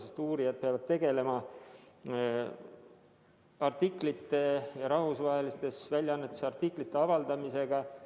Paljud uurijad peavad tegelema rahvusvahelistes väljaannetes artiklite avaldamisega.